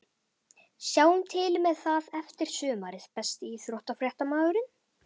Sjáum til með það eftir sumarið Besti íþróttafréttamaðurinn?